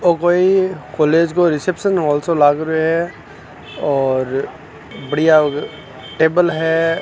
यह कोई कॉलेज का रिसेप्शन हॉल शो लग रहे हो है और बढ़िया टेबल है।